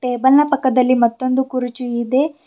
Table ನ ಪಕ್ಕದಲ್ಲಿ ಮತ್ತೊಂದು ಕುರ್ಚಿ ಇದೆ.